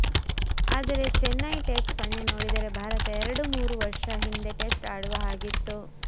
ಆದರೆ ಚೆನ್ನೈ ಟೆಸ್ಟ್ ಪಂದ್ಯ ನೋಡಿದರೆ ಭಾರತ ಎರಡು ಮೂರು ವರ್ಷ ಹಿಂದೆ ಟೆಸ್ಟ್ ಆಡುವ ಹಾಗಿತ್ತು